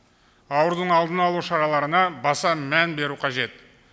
аурудың алдын алу шараларына баса мән беру қажет